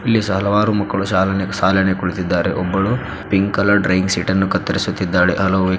ಇಲ್ಲಿ ಹಲವಾರು ಶಾಲೆನೆ ಸಾಲನೆ ಕುಳಿತಿದ್ದಾರೆ ಒಬ್ಬಳು ಪಿಂಕ್ ಕಲರ್ ಡ್ರಾಯಿಂಗ್ ಶೀಟ್ ಅನ್ನು ಕತ್ತರಿಸುದ್ದಳೆ.